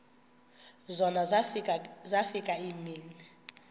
zona zafika iimini